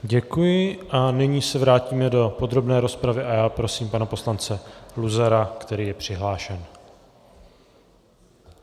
Děkuji a nyní se vrátíme do podrobné rozpravy a já prosím pana poslance Luzara, který je přihlášen.